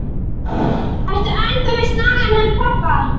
Ertu enn þá með snagann hans pabba?